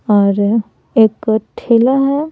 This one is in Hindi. और एक ठेला है ।